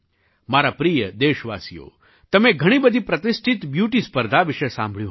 મારા પ્રિય દેશવાસીઓ તમે ઘણી બધી પ્રતિષ્ઠિત બ્યૂટી સ્પર્ધા વિશે સાંભળ્યું હશે